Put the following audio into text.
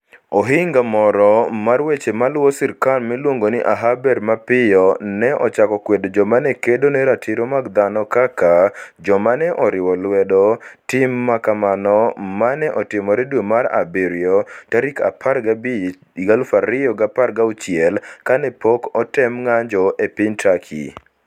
Ohinga moro mar weche maluwo sirkal miluongo ni Ahaber mapiyo ne ochako kwedo joma ne kedo ne ratiro mag dhano kaka "joma ne oriwo lwedo" tim ma kamano ma ne otimore dwe mar abirio 15, 2016, kane pok otem ng'anjo e piny Turkey: